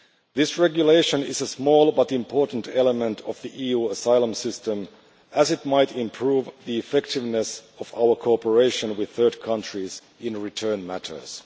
This regulation is a small but important element of the EU asylum system, as it might improve the effectiveness of our cooperation with third countries on return matters.